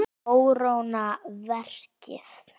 Kóróna verkið.